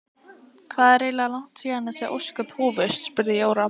Hvað er eiginlega langt síðan þessi ósköp hófust? spurði Jóra.